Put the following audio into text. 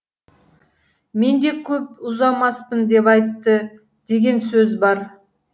мен де көп ұзамаспын деп айтты деген сөз бар